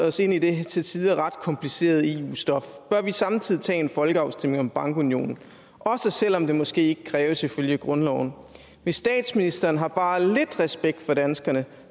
os ind i det til tider ret komplicerede eu stof bør vi samtidig tage en folkeafstemning om bankunionen også selvom det måske ikke kræves ifølge grundloven hvis statsministeren har bare lidt respekt for danskerne